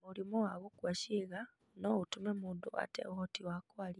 Mũrimũ wa gũkua ciĩga no ũtũme mũndũ ate ũhoti wa kwaria.